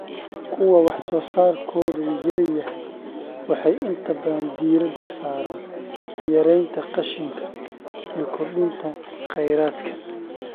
Kuwa wax soo saarkoodu yar yahay waxay inta badan diiradda saaraan yaraynta qashinka iyo kordhinta kheyraadka.